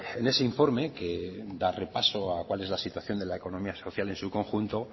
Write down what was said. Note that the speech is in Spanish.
en ese informe que da repaso a cuál es la situación de la economía social en su conjunto